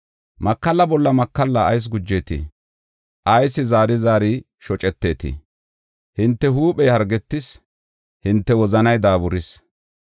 Makalla bolla makalla ayis gujeetii? Ayis zaari zaari shoceteetii? Hinte huuphey hargetis; hinte wozanay daaburis.